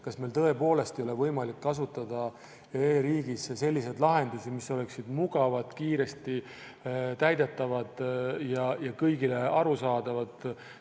Kas meil tõepoolest ei ole võimalik kasutada e-riigis selliseid lahendusi, mis oleksid mugavad, kiiresti täidetavad ja kõigile arusaadavad?